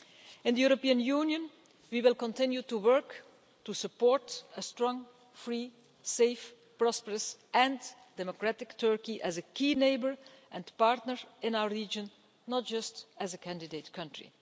In the European Union we will continue to work to support a strong, free, safe, prosperous and democratic Turkey as a key neighbour and partner in our region, not just as a candidate country.